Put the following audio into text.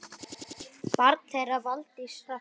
Barn þeirra Valdís Hrafna.